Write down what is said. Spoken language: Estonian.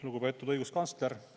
Lugupeetud õiguskantsler!